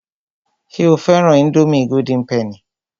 Ṣé o fẹ́ran ińdómì golden penny?